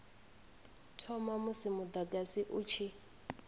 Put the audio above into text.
thoma musi mudagasi u tshi